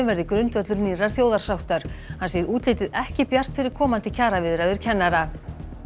verði grundvöllur nýrrar þjóðarsáttar hann segir útlitið ekki bjart fyrir komandi kjaraviðræður kennara